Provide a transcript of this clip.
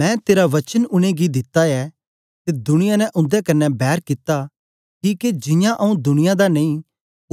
मैं तेरा वचन उनेंगी दिता ऐ ते दुनिया ने उन्दे कन्ने बैर कित्ती किके जियां आऊँ दुनिया दा नेई